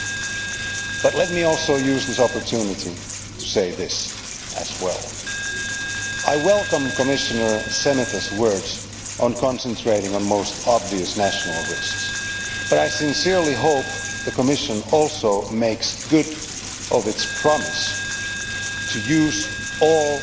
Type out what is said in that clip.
However, let me also use this opportunity to say that I welcome Commissioner Šemeta's words on concentrating on the most obvious national risks, but I sincerely hope the Commission makes good on its promise to use all